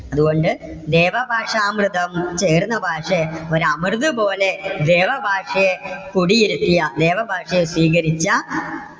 അതുകൊണ്ട്. ദേവഭാഷാമൃതം ചേർന്ന ഭാഷേ. ഒരു അമൃത് പോലെ ദേവഭാഷയെ കുടിയിരുത്തിയ ദേവഭാഷയെ സ്വീകരിച്ച